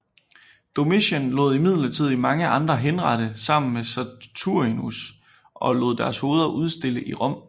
Domitian lod imidlertid mange andre henrette sammen med Saturninus og lod deres hoveder udstille i Rom